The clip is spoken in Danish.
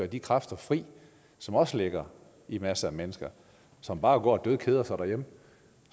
de kræfter fri som også ligger i masser af mennesker som bare går og dødkeder sig derhjemme